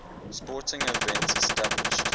sporting events established